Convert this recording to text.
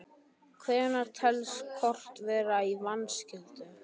Hvenær telst kort vera í vanskilum?